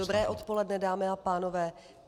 Dobré odpoledne, dámy a pánové.